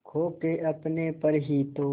खो के अपने पर ही तो